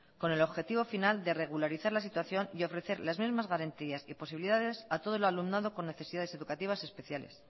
con el objetivo final de regularizar la situación y ofrecer las mismas garantías y posibilidades a todo el alumnado con necesidades educativas especiales